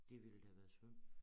Det ville da have været skønt